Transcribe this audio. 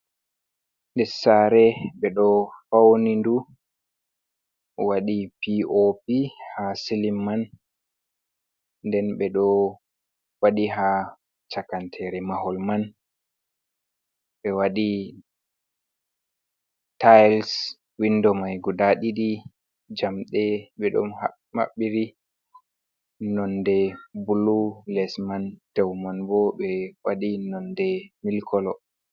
Lessare ɓe ɗo fauni ndu waɗi p o p ha silim man. Nden ɓe ɗo waɗi ha chakantere mahol man. Ɓe waɗi tayis, windo mai guda ɗiɗi. Jamde ɓe ɗo maɓɓiri nonde bulu, les man dew man bo ɓe waɗi nonde milkolo.